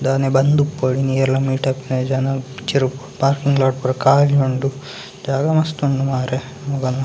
ದಾನೆ ಬಂದುಪ್ಪಡು ಇನ್ ಏರ್ಲ ಮೀಟ್‌ ಆಪುನ ಜನ ಚೆರು ಪಾರ್ಕಿಂಗ್‌ಲಾಟ್‌ ಪೂರ ಕಾಲಿ ಉಂಡು ಜಾಗ ಮಸ್ತ್‌ ಉಂಡು ಮಾರ್ರೆ ಮುಗಲ್ನ.